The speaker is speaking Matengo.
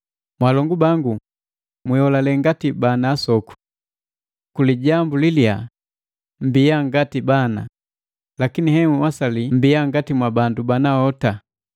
Mwalongu bangu, mwiholale ngati bana asoku. Nukulijambu liliyaa, mmbiya ngati bana, lakini henhwasali mmbiya ngati mwa bandu banahota.